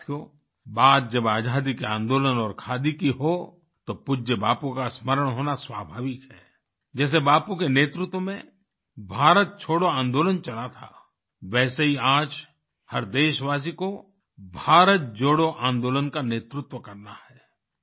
साथियो बात जब आज़ादी के आंदोलन और खादी की हो तो पूज्य बापू का स्मरण होना स्वाभाविक है जैसे बापू के नेतृत्व में भारत छोड़ो आंदोलन चला था वैसे ही आज हर देशवासी को भारत जोड़ो आंदोलन का नेतृत्व करना है